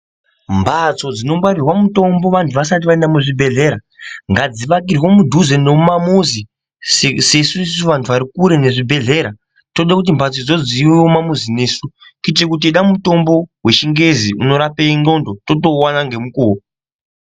Mbatso dzinongwarirwa mitombo vanthu vasati vaenda muzvibhedhlera ngadzivakirwe mudhuze nomumamuzi sesu isusu vanthu vari kure nezvibhedhleya tode kuti mbatsodzo dziuye kumamuzi nesu kuitire kuti teide mutombo wechingezi unorape ndxondo totouona ngemukuwo.